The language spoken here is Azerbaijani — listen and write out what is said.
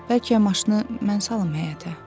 Bəlkə maşını mən salım həyətə?